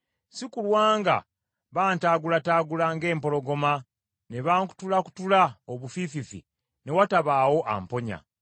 si kulwa nga bantagulataagula ng’empologoma ne bankutulakutula obufiififi ne watabaawo amponya.